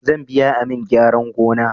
Zan biya amin gyaran gona